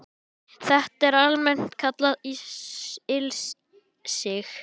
Þetta er almennt kallað ilsig